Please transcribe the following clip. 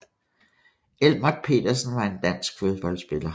Elmert Petersen var en dansk fodboldspiller